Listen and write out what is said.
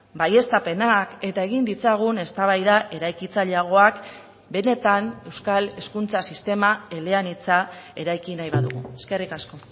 baieztapenak eta egin ditzagun eztabaida eraikitzaileagoak benetan euskal hezkuntza sistema eleanitza eraiki nahi badugu eskerrik asko